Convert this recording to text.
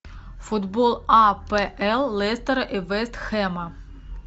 футбол апл лестера и вест хэма